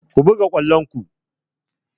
Ku buga kwallon ku!